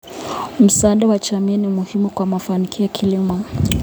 Msaada wa jamii ni muhimu kwa mafanikio ya kilimo.